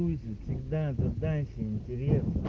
догадайся интересно